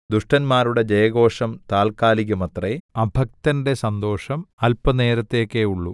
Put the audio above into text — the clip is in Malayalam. ദുഷ്ടന്മാരുടെ ജയഘോഷം താല്ക്കാലികമത്രെ അഭക്തന്റെ സന്തോഷം അല്പനേരത്തേക്കേയുള്ളു